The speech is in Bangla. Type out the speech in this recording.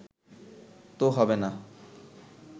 তো হবে না